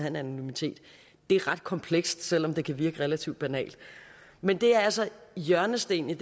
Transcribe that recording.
en anonymitet det er ret komplekst selv om det kan virke relativt banalt men det er altså hjørnestenen i